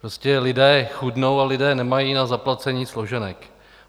Prostě lidé chudnou a lidé nemají na zaplacení složenek.